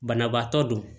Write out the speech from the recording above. Banabaatɔ do